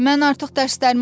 Mən artıq dərslərimi oxumuşam.